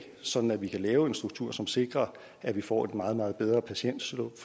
sådan at vi kan lave en struktur som sikrer at vi får et meget meget bedre patientflow